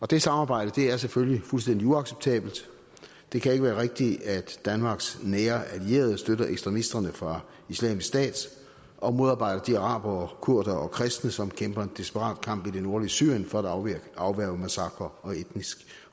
det samarbejde er selvfølgelig fuldstændig uacceptabelt det kan ikke være rigtigt at danmarks nære allierede støtter ekstremisterne fra islamisk stat og modarbejder de arabere kurdere og kristne som kæmper en desperat kamp i det nordlige syrien for at afværge massakrer og etnisk